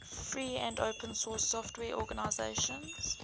free and open source software organizations